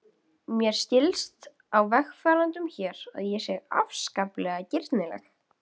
Mér skilst á vegfarendum hér að ég sé afskaplega girnileg.